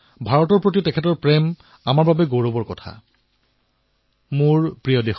বন্ধুসকল দেশৰ কৃষি ক্ষেত্ৰ আমাৰ কৃষক আমাৰ গাঁও হল আত্মনিৰ্ভৰ ভাৰতৰ আধাৰ